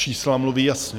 Čísla mluví jasně.